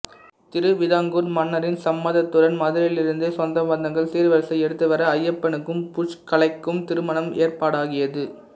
திருவிதாங்கூர் மன்னரின் சம்மதத்துடன் மதுரையிலிருந்த சொந்தபந்தங்கள் சீர்வரிசை எடுத்துவர ஐயப்பனுக்கும் புஷ்கலைக்கும் திருமணம் ஏற்பாடாகியது